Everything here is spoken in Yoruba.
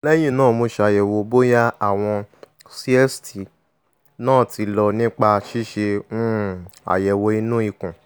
lẹ́yìn náà mo ṣàyẹ̀wò bóyá àwọn cysts náà ti lọ nípa ṣíṣe um àyẹ̀wò inú ikùn